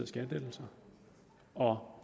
skattelettelser og